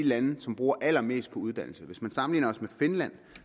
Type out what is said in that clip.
lande som bruger allermest på uddannelse hvis man sammenligner os med finland